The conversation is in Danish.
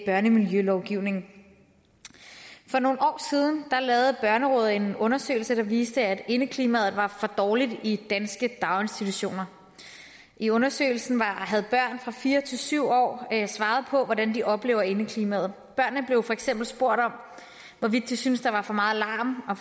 børnemiljølovgivning for nogle år siden lavede børnerådet en undersøgelse der viste at indeklimaet var for dårligt i danske daginstitutioner i undersøgelsen havde børn fra fire til syv år svaret på hvordan de oplevede indeklimaet børnene blev for eksempel spurgt om hvorvidt de syntes at der var for meget larm og